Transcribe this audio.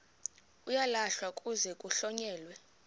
uyalahlwa kuze kuhlonyelwe